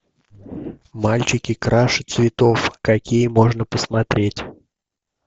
мальчики краше цветов какие можно посмотреть